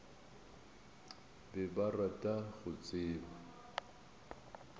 be ba rata go tseba